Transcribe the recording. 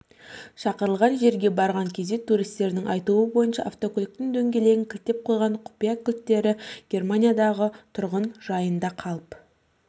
шақырылған жерге барған кезде туристердің айтуы бойынша автокөліктің дөңгелегін кілттеп қойған құпия кілттері германиядағы тұрғын-жайында қалып